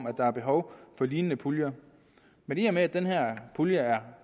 at der er behov for lignende puljer men i og med at den her pulje er